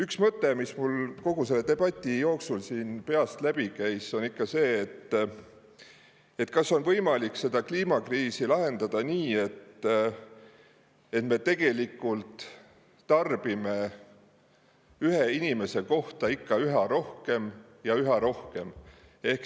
Üks mõte, mis mul kogu selle debati jooksul peast läbi käis, on see, kas on võimalik kliimakriisi lahendada nii, et me tarbime ühe inimese kohta üha rohkem ja üha rohkem.